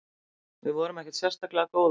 Við vorum ekkert sérstaklega góðar.